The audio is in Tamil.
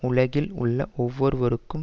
உலகில் உள்ள ஒவ்வொருவருக்கும்